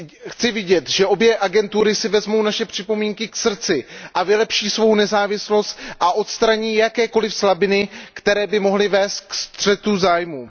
Chci vidět, že obě agentury si vezmou naše připomínky k srdci a vylepší svou nezávislost a odstraní jakékoli slabiny, které by mohly vést ke střetu zájmů.